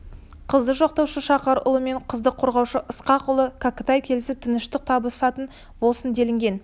қызды жоқтаушы шақар ұлы мен қызды қорғаушы ысқақ ұлы кәкітай келісіп тыныштық табысатын болсын делінген